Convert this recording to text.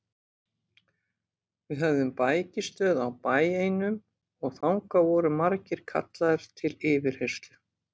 Við höfðum bækistöð á bæ einum og þangað voru margir kallaðir til yfirheyrslu.